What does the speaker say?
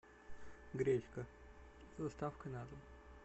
гречка с доставкой на дом